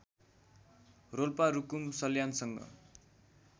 Rolpa Rukum सल्यानसँग